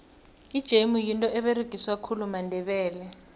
ijemu yinto eberegiswa khulu mandebele